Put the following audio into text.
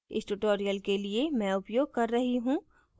इस tutorial के लिए मैं उपयोग कर रही हूँ